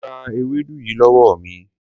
Gba ewédú yìí lówó mi.